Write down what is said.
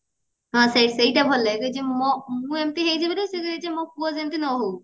ହଁ ସେଇଟା ସେଇଟା ଭଲ ଲାଗେ ମୁଁ ଏମିତେ ହେଇଯିବି ଯେ ସେ କହିଲା ମୋ ପୁଅ ଯେମିତେ ନ ହଉ